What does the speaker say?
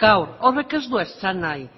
gaur horrek ez du esan nahi